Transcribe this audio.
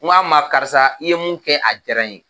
N ka ma karisa i ye mun kɛ a jara n ye.